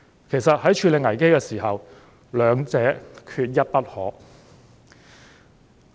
其實，在處理危機時，兩者缺一不可。